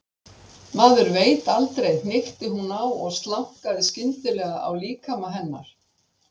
Maður veit aldrei, hnykkti hún á og slaknaði skyndilega á líkama hennar.